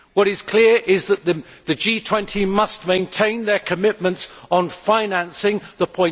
What is clear is that the G20 must maintain their commitments on financing the